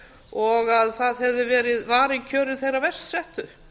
og að það hefði verið varin kjör þeirra verst settu